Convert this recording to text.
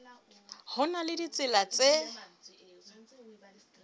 ho na le ditsela tse